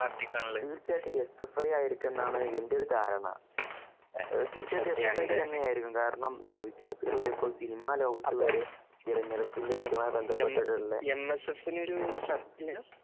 തീർച്ചയായിട്ടും എസ്എഫ്ഐ ആയിരിക്കുമെന്നാണ് എന്റെ ഒരു ധാരണ. തീർച്ചയായിട്ടും എസ് എഫ് ഐ തന്നെ ആയിരിക്കും കാരണം വിദ്യാർത്ഥികൾ ഇപ്പോൾ സിനിമാലോകത്ത് വരെ തിരഞ്ഞെടുപ്പുമായി ബന്ധപ്പെട്ടിട്ടുള്ള-